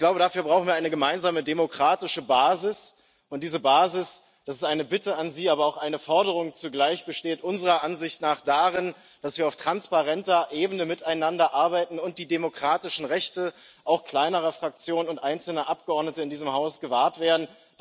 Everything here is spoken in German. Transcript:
Aber ich glaube, dafür brauchen wir eine gemeinsame demokratische Basis, und diese Basis das ist eine Bitte an Sie, aber zugleich auch eine Forderung besteht unserer Ansicht nach darin, dass wir auf transparenter Ebene miteinander arbeiten und die demokratischen Rechte auch kleinerer Fraktionen und einzelner Abgeordneter in diesem Haus gewahrt werden.